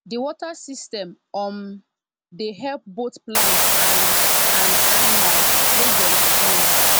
the water system um dey help both plants and and animals make dem strong